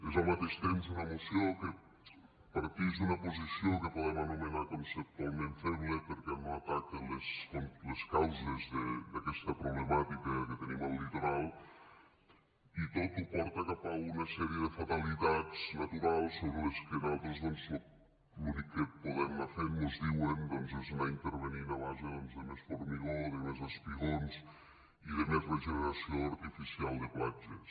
és al mateix temps una moció que partix d’una posició que podem anomenar conceptualment feble perquè no ataca les causes d’aquesta problemàtica que tenim al litoral i tot ho porta cap a una sèrie de fatalitats naturals sobre les que nosaltres doncs l’únic que podem anar fent mos diuen és anar intervenint a base doncs de més formigó de més espigons i de més regeneració artificial de platges